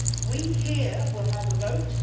We here will have a vote.